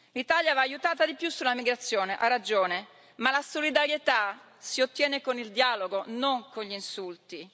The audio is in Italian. L'Italia va aiutata di più sulla migrazione, ha ragione, ma la solidarietà si ottiene con il dialogo, non con gli insulti.